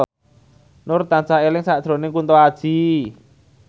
Nur tansah eling sakjroning Kunto Aji